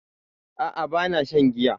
A'a bana shan giya